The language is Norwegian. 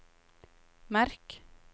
merk